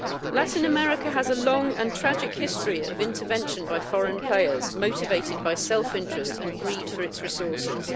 Latin America has a long and tragic history of intervention by foreign players, motivated by self interest and greed for its resources.